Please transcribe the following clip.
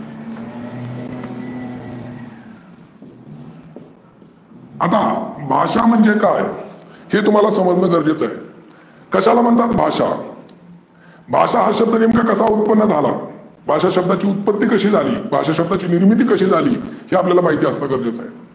आता भाषा म्हणजे काय? हे तुम्हाला समजने गरजेचे आहे. कशाला म्हाणतात भाषा? भाषा हा शब्द नेमका कसा उत्पन्न झाला? भाषा शब्दाची उत्पत्ती कशी झाली? भाषा शब्दाची निर्मिती कशी झाली? हे आपल्याला माहीत असने गरजेचं आहे.